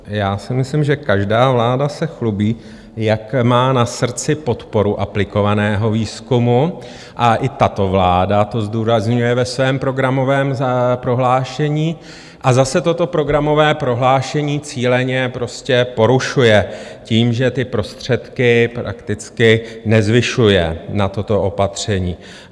Já si myslím, že každá vláda se chlubí, jak má na srdci podporu aplikovaného výzkumu, a i tato vláda to zdůrazňuje ve svém programovém prohlášení, a zase toto programové prohlášení cíleně prostě porušuje tím, že ty prostředky prakticky nezvyšuje na toto opatření.